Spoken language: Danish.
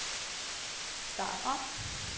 start om